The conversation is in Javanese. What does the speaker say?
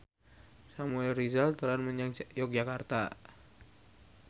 Samuel Rizal dolan menyang Yogyakarta